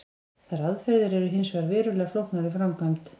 Þær aðferðir eru hins vegar verulega flóknar í framkvæmd.